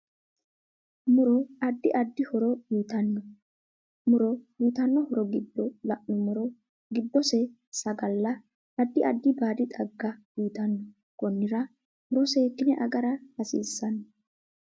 Muro addi addi horo uyiitanno muro uyiitanno horo giddo la'numoro giddose sagala, addi addi baadi xagga uyiitanno konnira muro seekine agra hasiisanno